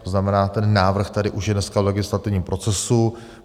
To znamená, ten návrh tady už je dneska v legislativním procesu.